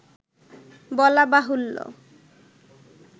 বলা বাহুল্য